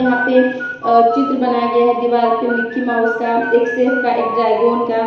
पे चित्र बनाया गया है दीवार पे मिकी माउस का एक शेफ का एक ड्रैगन का।